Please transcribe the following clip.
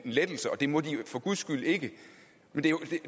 lettelse og det må de for guds skyld ikke men